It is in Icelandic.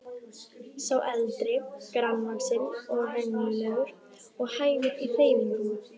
Sá eldri grannvaxinn og renglulegur og hægur í hreyfingum.